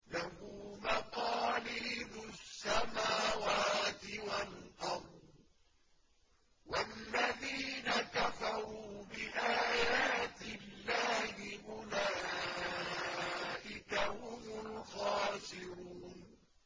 لَّهُ مَقَالِيدُ السَّمَاوَاتِ وَالْأَرْضِ ۗ وَالَّذِينَ كَفَرُوا بِآيَاتِ اللَّهِ أُولَٰئِكَ هُمُ الْخَاسِرُونَ